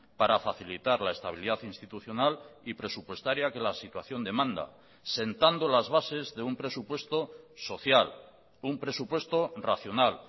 para facilitar la estabilidad institucional y presupuestaria que la situación demanda sentando las bases de un presupuesto social un presupuesto racional